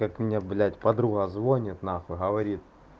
как меня блять подруга звонит нахуй говорит